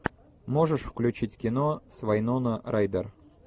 можешь включить кино с вайнона райдер